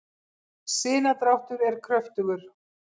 sinadráttur er kröftugur